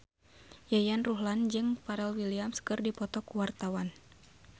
Yayan Ruhlan jeung Pharrell Williams keur dipoto ku wartawan